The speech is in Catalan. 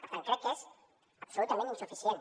per tant crec que és absolutament insuficient